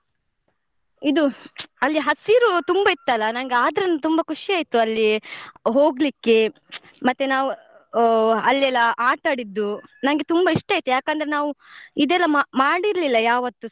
ಇದು ಅಲ್ಲಿ ಹಸಿರು ತುಂಬಾ ಇತ್ತಲ್ಲ ನಂಗೆ ಆದ್ರುನು ತುಂಬಾ ಖುಷಿ ಆಯ್ತು ಅಲ್ಲಿ ಹೋಗ್ಲಿಕ್ಕೆ ಮತ್ತೆ ನಾವ್ ಆ ಅಲ್ಲಿ ಎಲ್ಲ ಆಟ ಆಡಿದ್ದು ನಂಗೆ ತುಂಬಾ ಇಷ್ಟ ಆಯ್ತು ಯಾಕಂದ್ರೆ ನಾವ್ ಇದೆಲ್ಲ ಮಾ~ ಮಾಡಿರ್ಲಿಲ್ಲ ಯಾವತ್ತುಸ.